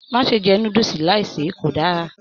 Má ṣe jẹ núdúsí láì se, kò dára!